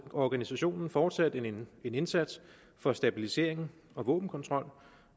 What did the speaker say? organisationen fortsat en indsats for stabilisering og våbenkontrol